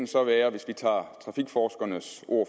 hvis vi tager trafikforskernes ord